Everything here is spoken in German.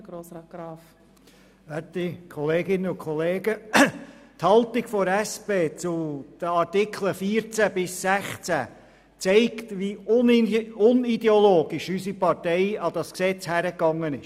Die Haltung der SP zu den Artikeln 14 bis 16 zeigt, wie unideologisch unsere Partei an das Gesetz herangegangen ist.